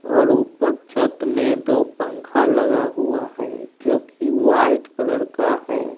और ऊपर छत में दो पंखा लगा हुआ है जोकि वाइट कलर का है।